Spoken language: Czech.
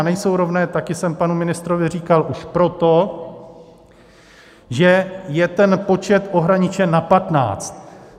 A nejsou rovné, taky jsem panu ministrovi říkal, už proto, že je ten počet ohraničen na patnáct.